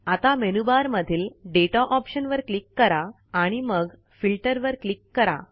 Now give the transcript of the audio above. आता मेनूबार मधील data option वर क्लिक करा आणि मग फिल्टर वर क्लिक करा